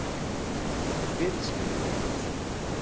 Hver er skýringin á þessu?